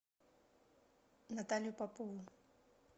наталью попову